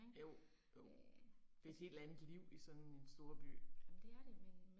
Jo, jo. Det er et helt andet liv i sådan en storby